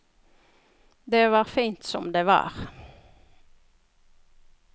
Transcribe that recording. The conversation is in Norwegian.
Det var fint som det var.